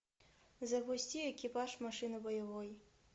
запусти экипаж машины боевой